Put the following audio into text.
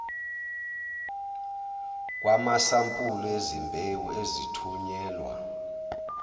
kwamasampuli ezimbewu ezithunyelwa